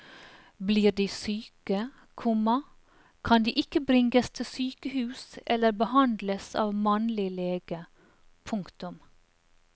Blir de syke, komma kan de ikke bringes til sykehus eller behandles av mannlig lege. punktum